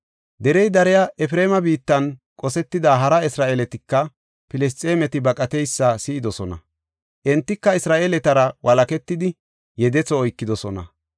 Derey dariya Efreema biittan qosetida hara Isra7eeletika Filisxeemeti baqateysa si7idosona. Entika Isra7eeletara walaketidi yedetho oykidosona.